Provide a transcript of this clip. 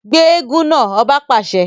Gbe eégún náà! ọba pàṣẹ